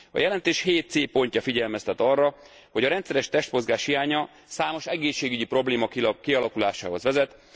A jelentés 7. cikkének c pontja figyelmeztet arra, hogy a rendszeres testmozgás hiánya számos egészségügyi probléma kialakulásához vezet.